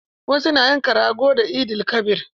Wasu na yanka rago da Eid-el-kabir.